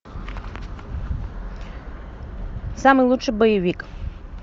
самый лучший боевик